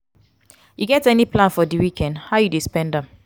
you get any plan for di weekend how you dey spend am?